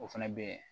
O fɛnɛ bɛ